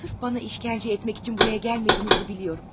Sırf bana işgəncə etmək üçün buraya gəlmədiyinizi biliyorum.